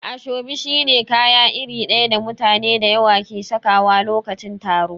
Ashobi shi ne kaya iri daya da mutane da yawa ke sakawa lokacin taro.